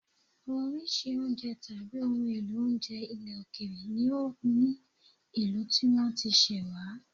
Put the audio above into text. Oríṣiríṣi oúnjẹ tàbí ohun èlò oúnjẹ ilẹ̀ òkèèrè ni ó ní ìlú tí wọ́n ti ṣẹ̀ wá